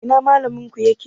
Ina Mallaminku yake?